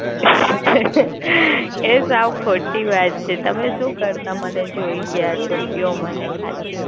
હ્હહહ. એ સાવ ખોટી વાત છે તમે સુ કરતા મને જોય ગયા છો કયો મને ખાલી?